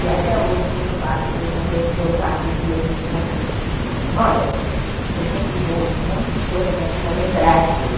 E até hoje, quando eu faço os meus encontros de memória, eu sempre dou um monte de coisa para a turma lembrar de coisa.